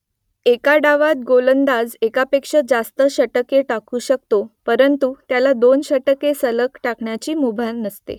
एका डावात गोलंदाज एकापेक्षा जास्त षटके टाकू शकतो परंतु त्याला दोन षटके सलग टाकण्याची मुभा नसते